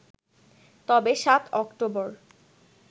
তবে ৭ অক্টোবর